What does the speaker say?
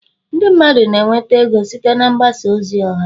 ndị mmadụ na-enweta ego site na mgbasa ozi ọha